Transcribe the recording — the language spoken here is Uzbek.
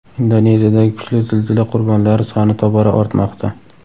Indoneziyadagi kuchli zilzila qurbonlari soni tobora ortmoqda.